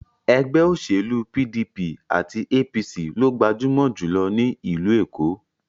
Ẹgbẹ́ òṣèlú PDP àti APC lo gbajúmọ̀ jùlọ ní ìlú Èkó.